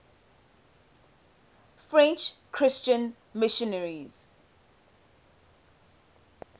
french christian missionaries